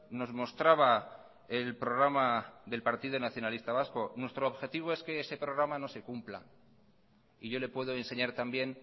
nos mostraba el programa del partido nacionalista vasco nuestro objetivo es que ese programa no se cumpla y yo le puedo enseñar también